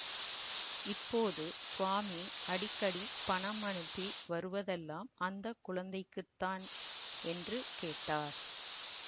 இப்போது ஸ்வாமி அடிக்கடி பணம் அனுப்பி வருவதெல்லாம் அந்த குழந்தைக்குத்தான் என்று கேட்டார்